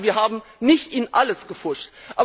Das heißt also, wir haben nicht in alles gepfuscht.